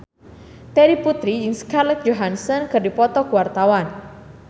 Terry Putri jeung Scarlett Johansson keur dipoto ku wartawan